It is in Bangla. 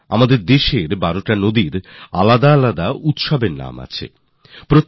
এগুলি দেশের ১২টি ভিন্ন ভিন্ন নদীতে যে উৎসবের আয়জন হয় তাদের ভিন্ন ভিন্ন নাম